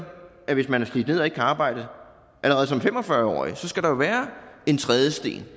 at hvis man er slidt ned og ikke kan arbejde allerede som fem og fyrre årig så skal der være en trædesten